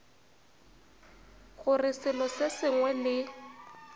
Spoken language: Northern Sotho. gore selo se sengwe le